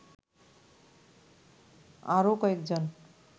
আরো কয়েকজন